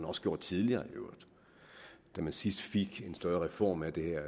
også gjort tidligere da man sidst fik en større reform af det her